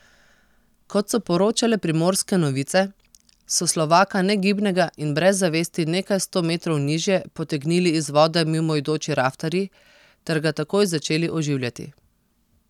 Kot so poročale Primorske novice, so Slovaka negibnega in brez zavesti nekaj sto metrov nižje potegnili iz vode mimoidoči raftarji ter ga takoj začeli oživljati.